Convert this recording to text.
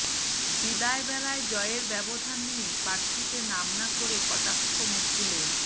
বিদায় বেলায় জয়ের ব্যবধান নিয়ে পার্থকে নাম না করে কটাক্ষ মুকুলের